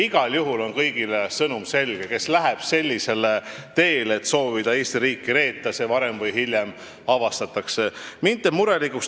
Igal juhul on see kõigile selge sõnum: kes läheb sellisele teele, et soovib Eesti riiki reeta, see varem või hiljem avastatakse.